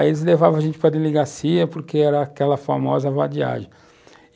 Aí eles levavam a gente para a delegacia, porque era aquela famosa vadiagem.